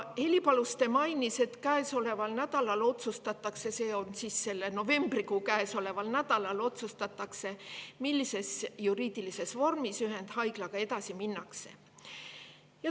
Heli Paluste mainis siis – novembrikuus –, et tol nädalal otsustatakse, millises juriidilises vormis ühendhaiglaga edasi minnakse.